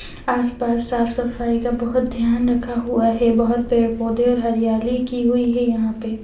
आस-पास साफ-सफाई का बहोत ध्यान रखा हुआ है बहोत पेड़-पौधे और हरियाली की हुई है यहां पे।